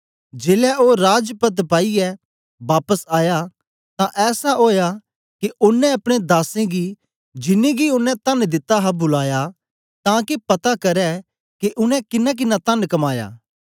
जेलै ओ राज पद्द पाईयै बापस आया तां ऐसा ओया के ओनें अपने दासें जिन्नें गी ओनें तन दिता हा बुलाया तां के पता करै के उनै किन्नाकिन्ना तन कमाया